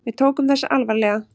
Við tókum þessu alvarlega.